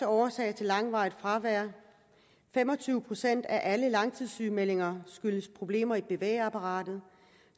årsag til langvarigt fravær fem og tyve procent af alle langtidssygemeldinger skyldes problemer i bevægeapparatet